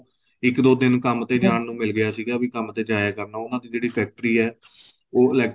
ਇੱਕ ਦੋ ਦਿਨ ਕੰਮ ਤੇ ਜਾਣ ਨੂੰ ਮਿਲ ਗਿਆ ਸੀਗਾ ਵੀ ਕੰਮ ਤੇ ਜਾਇਆ ਕਰਨਾ ਵੀ ਉਹਨਾ ਦੀ ਫ਼ੈਕਟਰੀ ਏ ਉਹ